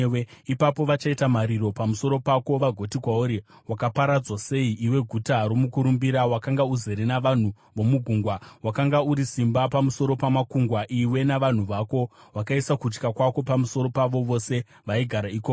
Ipapo vachachema pamusoro pako vagoti kwauri: “ ‘Wakaparadzwa sei, iwe guta romukurumbira, wakanga uzere navanhu vomugungwa! Wakanga uri simba pamusoro pamakungwa, iwe navanhu vako; wakaisa kutya kwako pamusoro pavo vose vaigara ikoko.